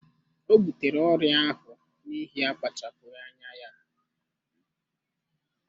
Ọ butere ọrịa ahụ n'ihi akpachapụghị anya ya.